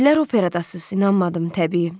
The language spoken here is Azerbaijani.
Dedilər operadasız, inanmadım, təbii.